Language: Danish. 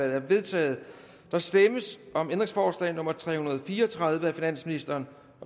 er vedtaget der stemmes om ændringsforslag nummer tre hundrede og fire og tredive af finansministeren